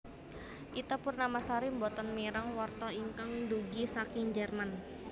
Ita Purnamasari mboten mireng warta ingkang dugi saking Jerman